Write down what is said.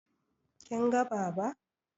Kin ga Baba?